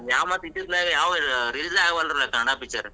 ಮತ್ತ್ ಇತ್ತಿತ್ಲಾಗ್ ಯಾವೂ release ಆಗ್ವಲ್ರು ಕನ್ನಡಾ picture .